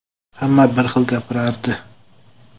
Hamma har xil gapirardi.